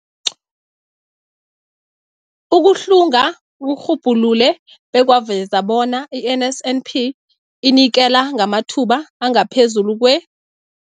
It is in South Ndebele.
Ukuhlunga kurhubhulule bekwaveza bona i-NSNP inikela ngamathuba angaphezulu kwe-